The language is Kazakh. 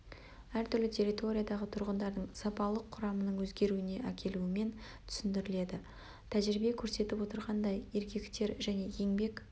әр түрлі территориядағы тұрғындардың сапалық құрамының өзгеруіне әкелуімен түсіндіріледі тәжірибе көрсетіп отырғандай еркектер және еңбек